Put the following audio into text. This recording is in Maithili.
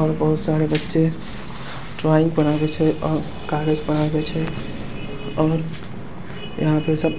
और बहुत सारे बच्चे ड्रॉइंग बनाबाई छै ओर कागज बनाबय छै और यहां पे सब--